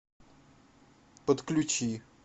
подключи